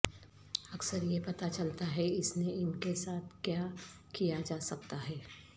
اکثر یہ پتہ چلتا ہے اس نے ان کے ساتھ کیا کیا جا سکتا ہے